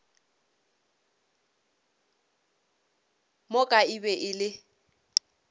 moka e be e le